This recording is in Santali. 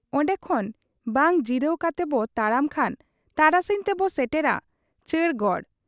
ᱚᱱᱰᱮ ᱠᱷᱚᱱ ᱵᱟᱝ ᱡᱤᱨᱟᱹᱣ ᱠᱟᱛᱮ ᱵᱚ ᱛᱟᱲᱟᱢ ᱠᱷᱟᱱ ᱛᱟᱨᱟᱥᱤᱧ ᱛᱮᱵᱚ ᱥᱮᱴᱮᱨᱟ ᱪᱟᱹᱨᱜᱚᱲ ᱾'